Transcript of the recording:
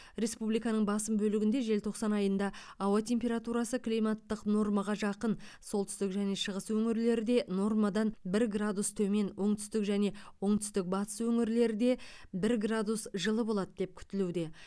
республиканың басым бөлігінде желтоқсан айында ауа температурасы климаттық нормаға жақын солтүстік және шығыс өңірлерде нормадан бір градус төмен оңтүстік және оңтүстік батыс өңірлерде бір градус жылы болады деп күтілуде